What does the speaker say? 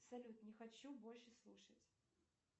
салют не хочу больше слушать